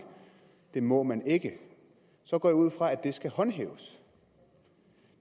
det må man ikke så går jeg ud fra at det skal håndhæves